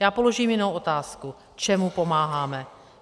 Já položím jinou otázku: Čemu pomáháme?